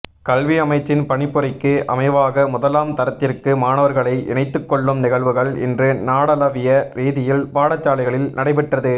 கல்வி அமைச்சின் பணிப்புரைக்கு அமைவாக முதலாம் தரத்திற்கு மாணவர்களை இணைத்துக்கொள்ளும் நிகழ்வுகள் இன்று நாடளாவிய ரீதியில் பாடசாலைகளில் நடைபெற்றது